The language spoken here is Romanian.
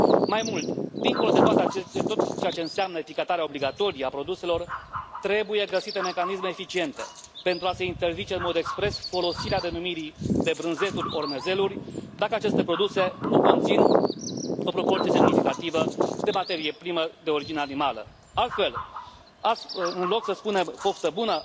Mai mult, dincolo de tot ceea ce înseamnă etichetarea obligatorie a produselor, trebuie găsite mecanisme eficiente pentru a se interzice în mod expres folosirea denumirii de brânzeturi ori mezeluri dacă aceste produse nu conțin o proporție semnificativă de materie primă de origine animală. Altfel, în loc să spunem Poftă bună!